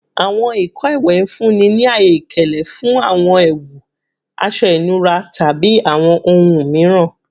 Awọn ìkọ iwẹ n funni ni aye ikele fun awọn ẹwu, aṣọ inura, tabi awọn ohun miiran